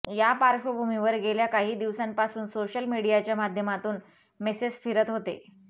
या पार्श्वभूमीवर गेल्या काही दिवसांपासून सोशल मीडियाच्या माध्यमातून मेसेस फिरत होते